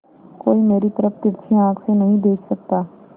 कोई मेरी तरफ तिरछी आँख से नहीं देख सकता